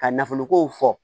Ka nafoloko fɔ